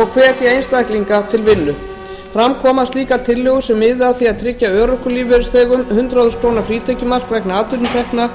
og hvetja einstaklinga til vinnu fram kom að slíkar tillögur sem miði að því að tryggja örorkulífeyrisþegum hundrað þúsund króna frítekjumark vegna atvinnutekna